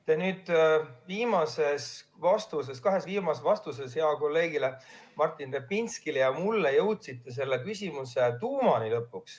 Te oma kahes viimases vastuses, mille andsite heale kolleegile Martin Repinskile ja mulle, jõudsite lõpuks küsimuse tuumani.